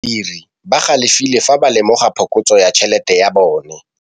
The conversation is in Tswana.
Badiri ba galefile fa ba lemoga phokotsô ya tšhelête ya bone.